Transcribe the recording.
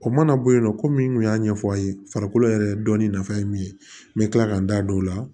O mana bɔ yen nɔ komi n kun y'a ɲɛfɔ aw ye farikolo yɛrɛ dɔnni nafa ye min ye n bɛ kila ka n da don o la